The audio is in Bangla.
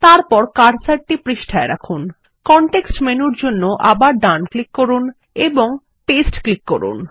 তারপর কার্সারটি পৃষ্ঠায় রাখুন কনটেক্সট মেনুর জন্য আবার ডান ক্লিক করুন এবং পাস্তে ক্লিক করুন